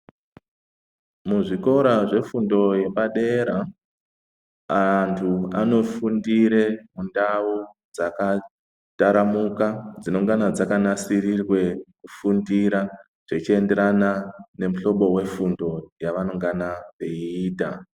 Muzvikora zvefundo yepadera anthu anofundire mundau dzakataramuka dzinongana dzakanasirirwe kufundira zvechienderana nemuhlobo wefundo yavangana veiita.